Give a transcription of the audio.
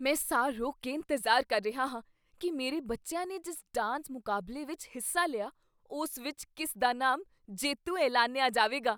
ਮੈਂ ਸਾਹ ਰੋਕ ਕੇ ਇੰਤਜ਼ਾਰ ਕਰ ਰਿਹਾ ਹਾਂ ਕੀ ਮੇਰੇ ਬੱਚਿਆਂ ਨੇ ਜਿਸ ਡਾਂਸ ਮੁਕਾਬਲੇ ਵਿੱਚ ਹਿੱਸਾ ਲਿਆ, ਉਸ ਵਿੱਚ ਕਿਸ ਦਾ ਨਾਮ ਜੇਤੂ ਐਲਾਨਿਆ ਜਾਵੇਗਾ।